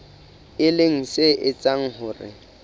e leng se etsang hore